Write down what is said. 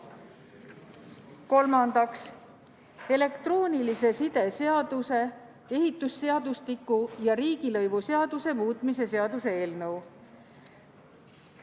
Kolmandaks, elektroonilise side seaduse, ehitusseadustiku ja riigilõivuseaduse muutmise seaduse eelnõu.